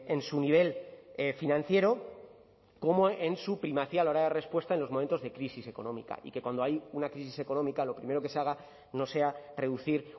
en su nivel financiero como en su primacía a la hora de respuesta en los momentos de crisis económica y que cuando hay una crisis económica lo primero que se haga no sea reducir